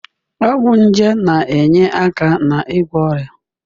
Ọgwụ nje na-enye aka n'ịgwọ ọrịa.